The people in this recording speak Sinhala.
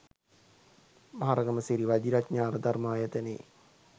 මහරගම සිරි වජිරඤාණ ධර්මායතනයේ